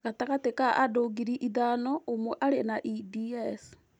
Gatagatĩ ka andũ ngiri ithano, ũmwe arĩ na EDS.